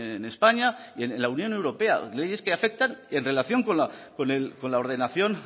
en españa y en la unión europea leyes que afectan en relación con la ordenación